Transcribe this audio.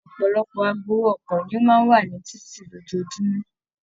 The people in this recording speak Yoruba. Ọpọlọpọ agbowó ọkọ̀ ni o máa n wa ni títí lójoojúmọ́.